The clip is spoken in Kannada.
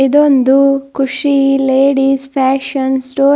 ಮತ್ತೆ ಒಂದು ಖುಷಿ ಲೇಡೀಸ್ ಫ್ಯಾಷನ್ ಸ್ಟೋರ್ .